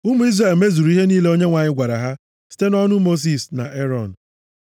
Ụmụ Izrel mezuru ihe niile Onyenwe anyị gwara ha site nʼọnụ Mosis na Erọn.